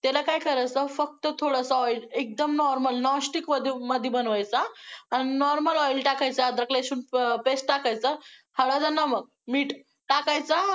त्याला काय करायचं, फक्त थोडसं oil एकदम normal, non stick मध्ये बनवायचं हां, आन normal oil टाकायचं, अदरक-लसूण paste टाकायचं, हळद आणि नमक, मीठ टाकायचं.